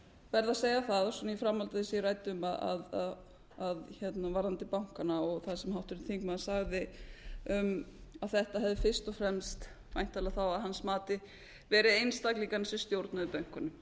að segja það í framhaldi af því sem ég ræddi um varðandi bankana og það sem háttvirtur þingmaður sagði um að þetta hefði fyrst og fremst væntanlega þá að hans mati verið einstaklingarnir sem stjórnuðu bönkunum